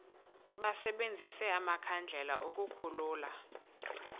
basebenzise amakhandlela ukukhulula